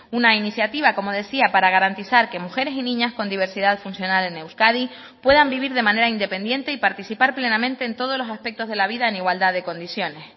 una iniciativa como decía para garantizar que mujeres y niñas con diversidad funcional en euskadi puedan vivir de manera independiente y participar plenamente en todos los aspectos de la vida en igualdad de condiciones